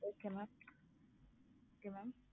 okay mam okay mam